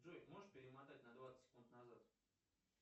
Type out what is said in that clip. джой можешь перемотать на двадцать секунд назад